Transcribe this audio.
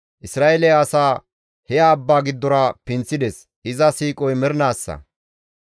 Isra7eele asaa he abba giddora pinththides; iza siiqoy mernaassa.